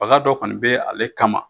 Waga dɔ kɔni bɛ ale kama.